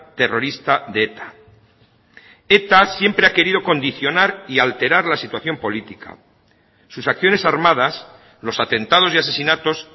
terrorista de eta eta siempre ha querido condicionar y alterar la situación política sus acciones armadas los atentados y asesinatos